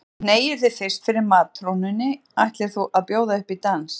Þú hneigir þig fyrst fyrir matrónunni ætlir þú að bjóða upp í dans.